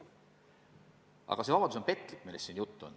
Aga see vabadus on petlik.